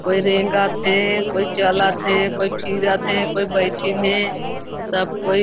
कोई रेंगा थे कोई चला थे कोई फिरत हे कोई बैठिन हे सब कोई--